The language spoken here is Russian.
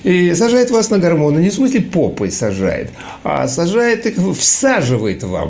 и сажает вас на гормоны не в смысле попой сажает а сажает их всаживает вам